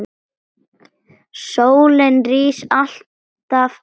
Sólin rís alltaf aftur.